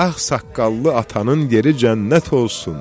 Ağsaqqallı atanın yeri cənnət olsun.